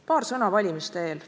Paar sõna valimiste eel.